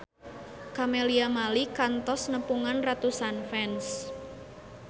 Camelia Malik kantos nepungan ratusan fans